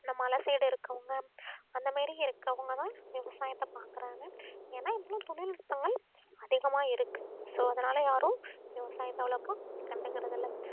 இந்த மலை side இருக்கவங்க அந்த மாதிரி இருக்கிறவங்கதான் விவசாயத்தை பாக்குறாங்க ஏன்னா இவ்வளவு தொழில்நுட்பங்கள் அதிகமா இருக்கு so அதனால யாரும் விவசாயத்தை அவ்வளவுக்கும் கண்டுக்கறதில்லை